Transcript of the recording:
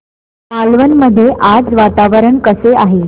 मालवण मध्ये आज वातावरण कसे आहे